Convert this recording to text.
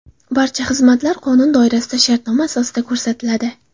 Barcha xizmatlar qonun doirasida shartnoma asosida ko‘rsatiladi.